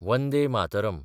Vande Mataram